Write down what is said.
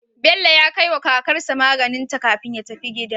Bello ya kai wa kakar shi maganinta kafin ya tafi gida